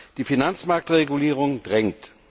Die Finanzmarktregulierung drängt.